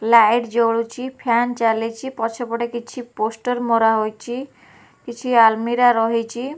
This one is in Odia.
ଲାଇଟ ଜଳୁଛି ଫ୍ୟାନ ଚାଲିଛି ପଛ ପଟେ କିଛି ପୋଷ୍ଟର ମରା ହୋଇଚି କିଛି ଆଲମିରା ରହିଚି।